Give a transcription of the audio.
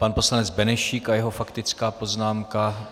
Pan poslanec Benešík a jeho faktická poznámka.